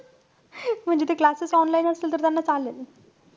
म्हणजे ते classes online असतील तर त्यांना चालेल.